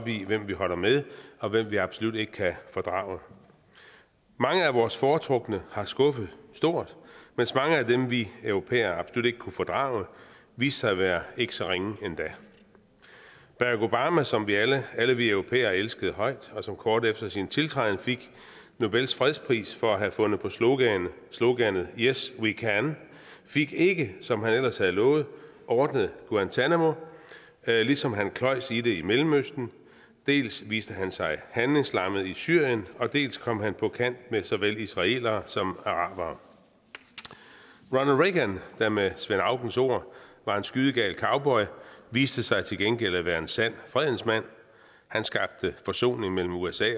i hvem vi holder med og hvem vi absolut ikke kan fordrage mange af vores foretrukne har skuffet stort mens mange af dem vi europæere absolut ikke kunne fordrage viste sig at være ikke så ringe endda barack obama som alle vi europæere elskede højt og som kort efter sin tiltræden fik nobels fredspris for at have fundet på sloganet sloganet yes we can fik ikke som han ellers havde lovet ordnet guantánamo ligesom han kløjes i det i mellemøsten dels viste han sig handlingslammet i syrien dels kom han på kant med såvel israelere som arabere ronald reagan der med svend aukens ord var en skydegal cowboy viste sig til gengæld at være en sand fredens mand han skabte forsoning mellem usa